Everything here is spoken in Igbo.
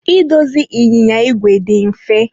Idozi ịnyịnya igwe dị mfe.